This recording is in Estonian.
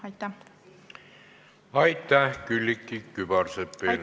Aitäh, Külliki Kübarsepp!